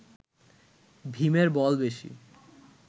ভীমের বল বেশী